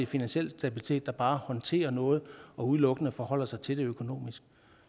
finansiel stabilitet der bare håndterer noget og udelukkende forholder sig til det økonomiske